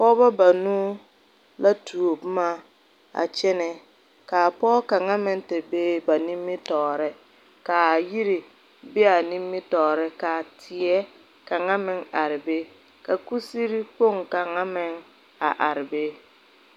pɔgɔbɔ banuu la tuo boma a kyɛne. Ka a pɔgɔ kanga meŋ te be ba nimitoore. Ka a yire be a nimitoore. Ka teɛ kanga meŋ are be. Ka kusere kpong kanga meŋ a are be.